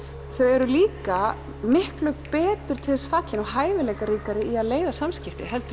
þau eru líka miklu betur til þess fallin og hæfileikaríkari í að leiða samskipti heldur